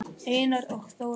Einar og Þóra skildu.